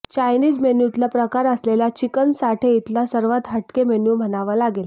Chinese मेन्यूतला प्रकार असलेला चिकन साठे इथला सर्वात हटके मेन्यू म्हणावा लागेल